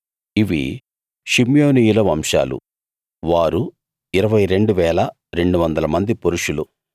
ఇవి షిమ్యోనీయుల వంశాలు వారు 22 200 మంది పురుషులు